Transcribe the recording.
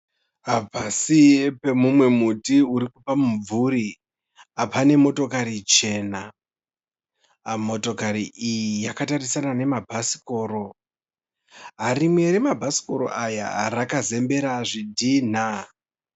Pasi pamumwe muti uri pamumvuri pakamira motokari chena. Motokari iyi yakatarisana nemabhasikoro. Rimwe remabhasikoro aya rakazembera zvidhinha.